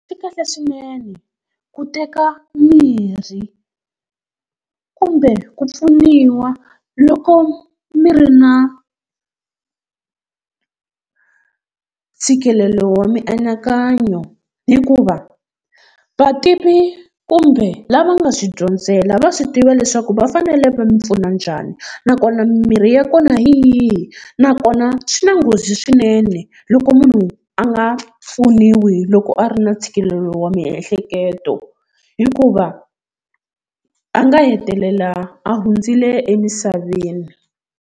Swi kahle swinene ku teka mirhi kumbe ku pfuniwa loko mi ri na ntshikelelo wa mianakanyo, hikuva vativi kumbe lava nga swi dyondzela va swi tiva leswaku va fanele va mi pfuna njhani, nakona mimirhi ya kona hi yihi, nakona swi na nghozi swinene loko munhu a nga pfuniwi loko a ri na ntshikelelo wa miehleketo hikuva a nga hetelela a hundzile emisaveni.